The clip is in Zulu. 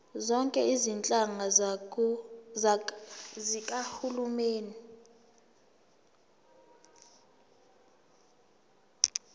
zonke izinhlaka zikahulumeni